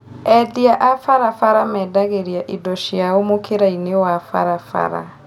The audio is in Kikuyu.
Endia a barabara mendagĩria indo ciao mũkĩra-inĩ wa barabara